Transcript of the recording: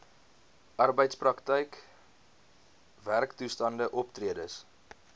arbeidsprakryk werktoestande optredes